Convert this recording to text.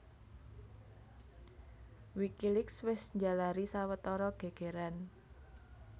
Wikileaks wis njalari sawetara gègèran